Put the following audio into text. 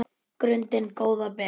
grundin góða ber